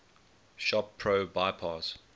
shop pro bypass